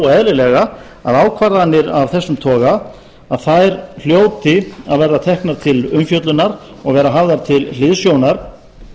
eðlilega að ákvarðanir af þessum toga að þær hljóti að verða teknar til umfjöllunar og verða hafðar til hliðsjónar